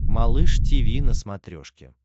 малыш тиви на смотрешке